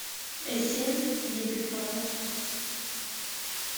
эссен епифанов